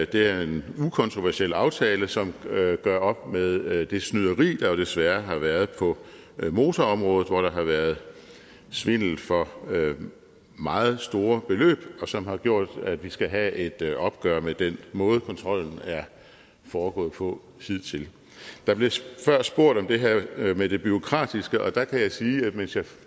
det er en ukontroversiel aftale som gør op med det snyderi der jo desværre har været på motorområdet hvor der har været svindel for meget store beløb og som har gjort at vi skal have et et opgør med den måde kontrollen er foregået på hidtil der blev før spurgt om det her med det bureaukratiske og der kan jeg sige at